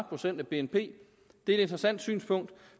procent af bnp det er et interessant synspunkt